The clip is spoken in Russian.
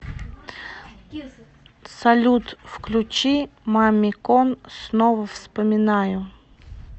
салют включи мамикон снова вспоминаю